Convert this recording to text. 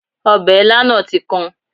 Ọbẹ̀ ilá náà tí kan